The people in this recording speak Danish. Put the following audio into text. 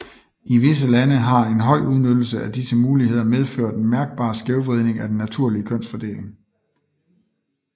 I visse lande har en høj udnyttelse af disse muligheder medført en mærkbar skævvridning i den naturlige kønsfordeling